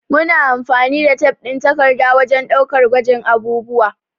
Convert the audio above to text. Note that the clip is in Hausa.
Muna amfani da tef ɗin takarda wajen ɗaukar gwajin abubuwa